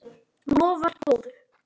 Lofar góðu.